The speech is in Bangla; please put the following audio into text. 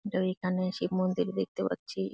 এইখানে শিব মন্দির দেখতে পাচ্ছি।